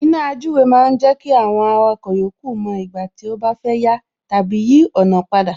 Iná àjúwe ma ń jẹ́ kí àwọn awakọ̀ yòókù mo ìgbà tí ó bá fẹ́ yà tàbí yí ọ̀nà padà